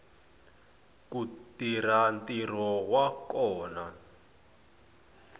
ku tirha ntirho wa kona